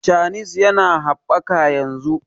chanis ya na habbaka yanzu